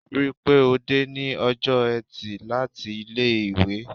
Rí pé ó dé ní ọjọ́ eti láti ilé-ìwé.